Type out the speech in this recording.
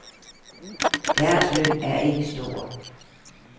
Deres løn er ikke stor.